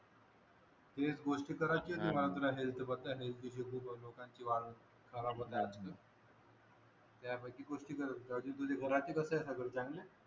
एक गोष्ट करायची आणि बाजूला हेल्थ बगायची हेल्थ इशु खूप लोकांची वाल खराब होतात त्यापैकी बाकी तुझ्या घरातले कसंय सगळं चांगल्य